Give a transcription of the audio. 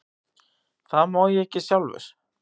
Það má ég ekki sjálfur.